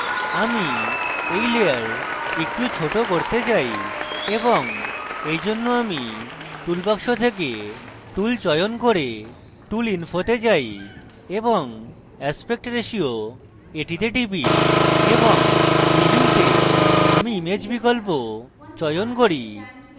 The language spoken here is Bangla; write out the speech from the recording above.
আমি এই layer একটু ছোট করতে চাই এবং এইজন্য আমি toolbox থেকে tool চয়ন করে tool ইনফোতে যাই এবং aspect ratio তে টিপি এবং প্রিভিউতে আমি image বিকল্প চয়ন করি